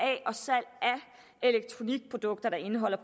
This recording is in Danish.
elektronikprodukter der indeholder